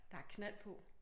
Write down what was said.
Der er knald på